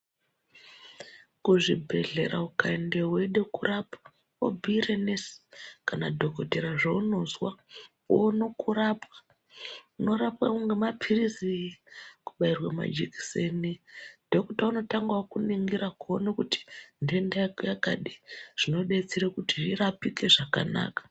Kuzvibhedhlera ukaendeyo weide kurapwa wobhuire nesi kana dhokotera zvaunozwa woona kurapwa unorapwawo ngemapirizi, kubatrwe majekiseni dhokota unotanga akuningira kuone kuti ndenda yako yakadii zvinodetsera kuti irapike zvekanaka.